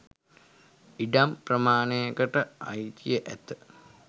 ඉඩම් ප්‍රමාණයකට අයිතිය ඇත